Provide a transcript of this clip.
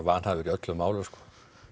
vanhæfur í öllum málum sko